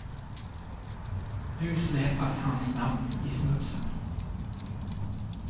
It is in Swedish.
Nu släpas hans namn i smutsen.